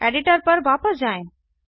editor पर वापस जाएँ